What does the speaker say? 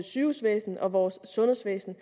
sygehusvæsen og vores sundhedsvæsen